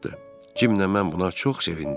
Cim də mən buna çox sevindik.